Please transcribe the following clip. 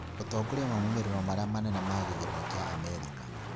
ũtongoria wa maũmĩrĩro marĩa manene ma gĩthurano kĩa Amerika